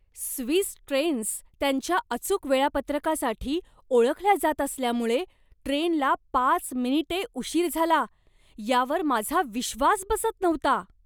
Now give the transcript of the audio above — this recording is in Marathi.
स्विस ट्रेन्स त्यांच्या अचूक वेळापत्रकासाठी ओळखल्या जात असल्यामुळे ट्रेनला पाच मिनिटे उशीर झाला यावर माझा विश्वास बसत नव्हता.